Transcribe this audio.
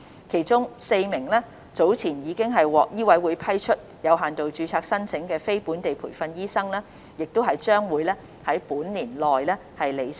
其中 ，4 名早前已獲醫委會批出有限度註冊申請的非本地培訓醫生將於本年內履新。